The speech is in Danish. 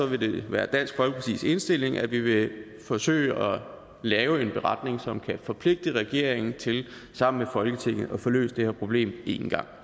vil det være dansk folkepartis indstilling at vi vil forsøge at lave en beretning som kan forpligte regeringen til sammen med folketinget at få løst det her problem en gang